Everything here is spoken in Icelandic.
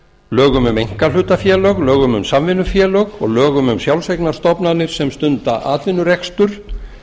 lögum um einkahlutafélög lögum um samvinnufélög og lögum um sjálfseignarstofnanir sem stunda atvinnurekstur